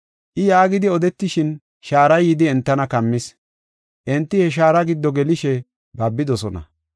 I yaagidi odetishin shaaray yidi entana kammis. Enti he shaara giddo gelishe babidosona.